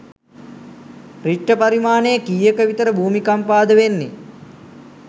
රිච්ට පරිමාණය කීයක විතර භූමිකම්පාද වෙන්නෙ?